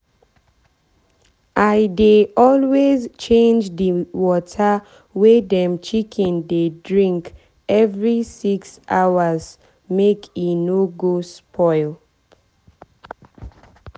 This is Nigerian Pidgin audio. i dey always change the water wey dem chicken dey drink every six six hours make e no go spoil.